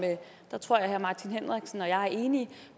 der tror jeg at herre martin henriksen og jeg er enige